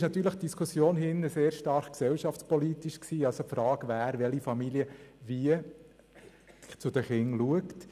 Die Diskussion hier drin war sehr stark gesellschaftspolitisch geprägt, das heisst wer, welche Familie wann und wie die Kinder betreut.